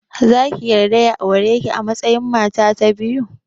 Zaki yarda ya aureki a matsayin mata ta biyu?